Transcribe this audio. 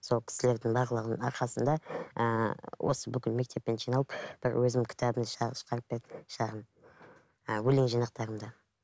сол кісілердің барлығының арқасында ыыы осы бүкіл мектеппен жиналып бір өзімнің кітабымды шығар шығарып берді шағын ы өлең жианақтарымды